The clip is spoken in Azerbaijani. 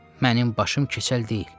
Mənim başım keçəl deyil!